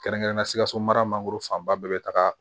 Kɛrɛnkɛrɛnnenya la sikaso mara mangoro fanba bɛɛ bɛ taga